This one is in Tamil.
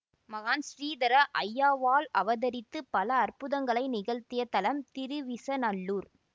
மகான் ஸ்ரீதர ஐயாவாள் அவதரித்து பல அற்புதங்களை நிகழ்த்திய தலம் திருவிசநல்லூர்